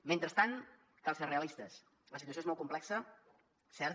mentrestant cal ser realistes la situació és molt complexa cert